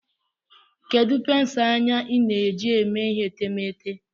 Kedu pensụl anya ị na-eji eme ihe etemeete?